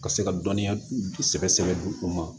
Ka se ka dɔnniya sɛbɛ sɛbɛ u ma